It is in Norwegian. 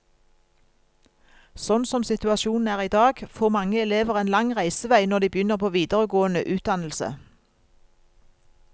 Sånn som situasjonen er i dag, får mange elever en lang reisevei når de begynner på videregående utdannelse.